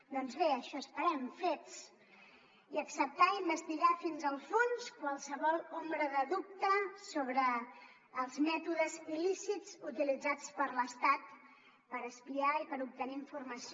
doncs bé això esperem fets i acceptar investigar fins al fons qualsevol ombra de dubte sobre els mètodes il·lícits utilitzats per l’estat per espiar i per obtenir informació